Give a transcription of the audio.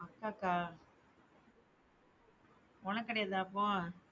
அக்காக்கா உனக்கு கிடையாதா அப்போ?